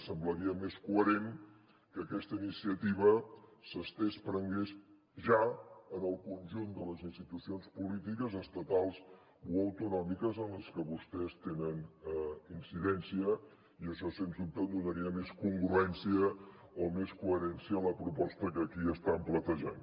semblaria més coherent que aquesta iniciativa es prengués ja en el conjunt de les institucions polítiques estatals o autonòmiques en les que vostès tenen incidència i això sens dubte donaria més congruència o més coherència a la proposta que aquí estan plantejant